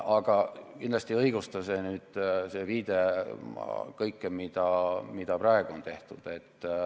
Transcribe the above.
Aga kindlasti ei õigusta see viide varasemale kõike seda, mida praegu on tehtud.